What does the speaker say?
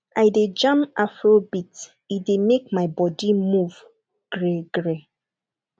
i dey jam afrobeat e dey make my body move greegree